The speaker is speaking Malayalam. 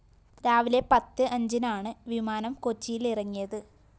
രാവിലെ പത്ത് അഞ്ചിനാണ് വിമാനം കൊച്ചിയിലിറങ്ങിയത്